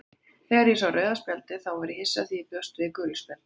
Þegar ég sá rauða spjaldið þá var ég hissa því ég bjóst við gulu spjaldi,